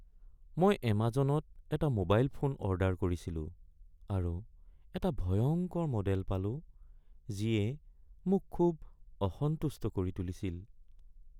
মই এমাজনত এটা মোবাইল ফোন অৰ্ডাৰ কৰিছিলো আৰু এটা ভয়ংকৰ মডেল পালো যিয়ে মোক খুব অসন্তুষ্ট কৰি তুলিছিল।